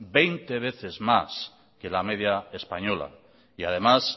veinte veces más que la media española y además